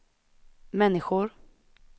människor